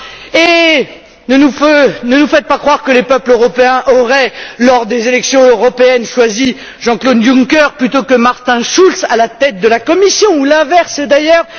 Et ne nous faites par croire que les peuples européens auraient, lors des élections européennes, choisi Jean Claude Juncker plutôt que Martin Schulz à la tête de la Commission ou l'inverse, d'ailleurs.